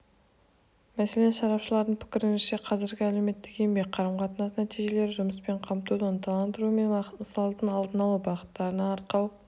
мәселен сарапшылардың пікірінше қазіргі әлеуметтік-еңбек қарым-қатынасы нәтижелі жұмыспен қамтуды ынталандыру мен масылдықтың алдын алу бағыттарын арқау